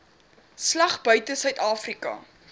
slag buite suidafrika